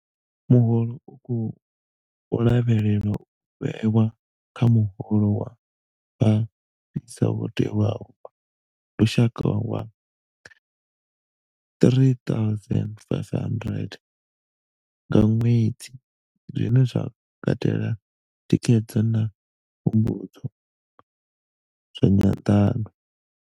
Muholo u khou lavhelelwa u vhewa kha muholo wa fhasisa wo tewaho wa lushaka wa R3 500 nga ṅwedzi, zwine zwa katela thikhedzo na pfumbudzo zwa nyanḓano.